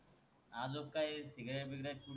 आजुक काही सिगरेट बिगरेट